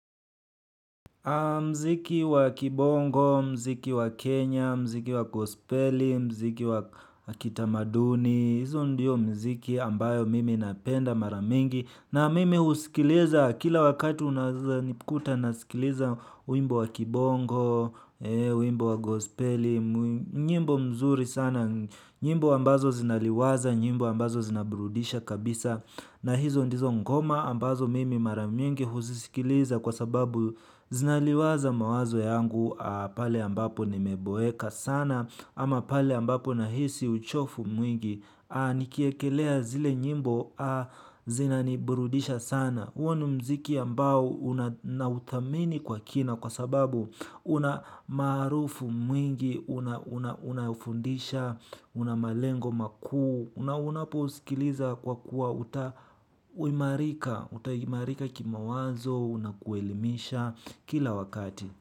Mziki wa kibongo, mziki wa kenya, mziki wa gospeli, mziki wa kitamaduni. Hizo ndiyo mziki ambayo mimi napenda mara mingi. Na mimi husikiliza kila wakati uneaza nikuta nasikiliza wimbo wa kibongo, uimbo wa gospele. Nyimbo mzuri sana, nyimbo ambazo zinaliwaza, nyimbo ambazo zinabrudisha kabisa. Na hizo ndizo ngoma ambazo mimi mara mingi huzisikiliza kwa sababu zinaliwaza mawazo yangu pale ambapo nimeboeka sana ama pale ambapo nahisi uchofu mwingi nikiekelea zile nyimbo zinaniburudisha sana. Huo ni mziki ambao una nauthamini kwa kina kwa sababu una maarufu mwingi, unaofundisha, una malengo makuu, una unapousikiliza kwa kuwa uta imarika, utaimarika kimawazo, unakuelimisha kila wakati.